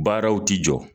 Baaraw ti jɔ